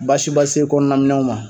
Baasiba si tɛ kɔnɔna minɛnw na.